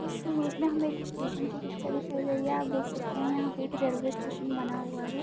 इस इमेज में हमे एक एक स्टेशन के पिक्चर दिखाई गई है यह आप देख सकते है यहाँ पे एक रेलवे स्टेशन बना हुआ है।